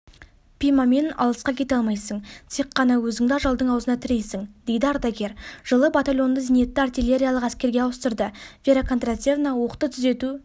пимамен алысқа кете алмайсын тек ғана өзінде ажалдың ауызына тірейсін дейді ардагер жылы батальонды зенитті-артеллериялық әскерге ауыстырды вера кондратьевна оқты түзету